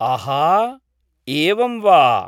आहा, एवं वा।